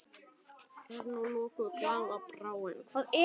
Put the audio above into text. Er nú lokuð glaða bráin?